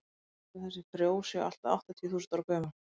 talið er að þessi frjó séu allt að áttatíu þúsund ára gömul